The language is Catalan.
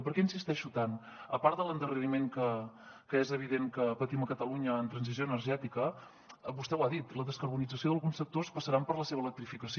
per què hi insisteixo tant a part de l’endarreriment que és evident que patim a catalunya en transició energètica vostè ho ha dit la descarbonització d’alguns sectors passarà per la seva electrificació